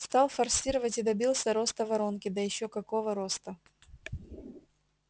стал форсировать и добился роста воронки да ещё какого роста